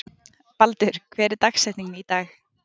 Baldur, hver er dagsetningin í dag?